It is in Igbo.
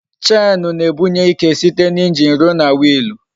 Chenu na-ebunye ike site n'injin ruo na Wiilu